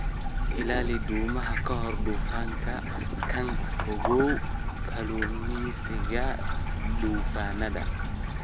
Ka ilaali doomaha ka hor duufaanka kana fogow kalluumeysiga duufaannada